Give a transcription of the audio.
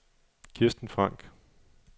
Kirsten Frank